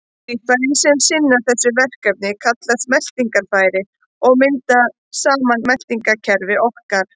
Líffærin sem sinna þessu verkefni kallast meltingarfæri og mynda saman meltingarkerfi okkar.